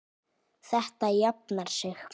Þetta jafnar sig.